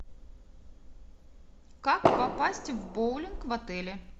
как попасть в боулинг в отеле